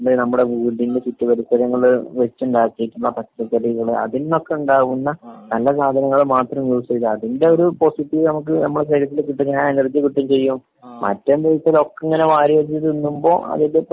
നമ്മുടെ വീടിന്റെ ചുറ്റു പരിസരങ്ങളില് വെച്ചുണ്ടാക്കിയിട്ടുള്ള പച്ചക്കറികള് അതിൽന്നൊക്കെ ഉണ്ടാവുന്ന നല്ല സാധനങ്ങള് മാത്രം ഉപയോഗിച്ചു കഴിഞ്ഞാല് അതിന്റെയൊരു പോസിറ്റീവ് നമുക്ക് നമ്മുടെ ശരീരത്തിന് കിട്ടുന്ന ആ എനെർജി കിട്ടുകയും ചെയ്യും. മറ്റേന്ത്‌ന്ന് വെച്ച് കഴിഞ്ഞാല് ഒക്കെ ഇങ്ങനെ വാരി വലിച്ച് തിന്നുമ്പോ അതിന്റെ